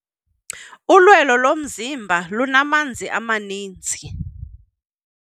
Ulwelo lomzimba lunamanzi amaninzi.